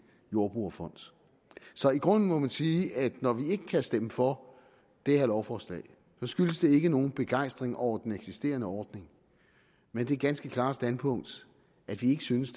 jordbrugerfond så i grunden må man sige at når vi ikke kan stemme for det her lovforslag skyldes det ikke nogen begejstring over den eksisterende ordning men det ganske klare standpunkt at vi ikke synes